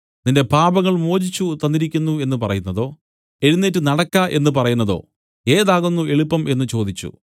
നിന്റെ പാപങ്ങൾ മോചിച്ചു തന്നിരിക്കുന്നു എന്നു പറയുന്നതോ എഴുന്നേറ്റ് നടക്ക എന്നു പറയുന്നതോ ഏതാകുന്നു എളുപ്പം എന്നു ചോദിച്ചു